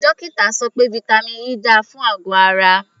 Dókítà sọ pé vitamin E dára fún àgọ̀ ara.